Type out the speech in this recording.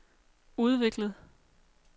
udviklet